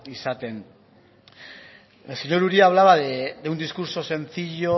izaten el señor uria hablaba de un discurso sencillo